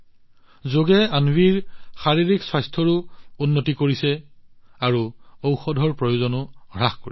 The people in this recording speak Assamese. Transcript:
যোগে অন্বীৰ শাৰীৰিক স্বাস্থ্যও উন্নত কৰিছে আৰু ঔষধৰ প্ৰয়োজনীয়তাও হ্ৰাস কৰিছে